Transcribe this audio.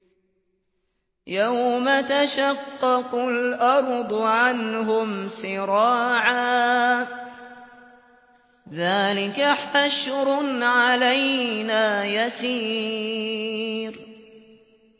يَوْمَ تَشَقَّقُ الْأَرْضُ عَنْهُمْ سِرَاعًا ۚ ذَٰلِكَ حَشْرٌ عَلَيْنَا يَسِيرٌ